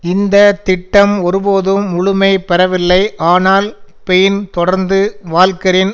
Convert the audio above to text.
இந்த திட்டம் ஒருபோதும் முழுமை பெறவில்லை ஆனால் பெயின் தொடர்ந்து வால்கெரின்